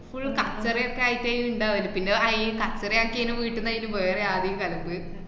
full കച്ചറൊക്കെ ആയിട്ടേണ് ഇണ്ടാവല്. പിന്നെ അഹ് ഈ കച്ചറ ആക്കിയേന് വീട്ടിന്ന് അയിന് വേറെ ആരേം കലമ്പ്